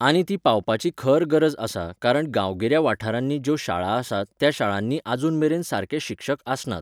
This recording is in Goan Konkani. आनी ती पावपाची खर गरज आसा कारण गांवगिऱ्या वाठारांनी ज्यो शाळा आसात त्या शाळांनी आजून मेरेन सारके शिक्षक आसनात.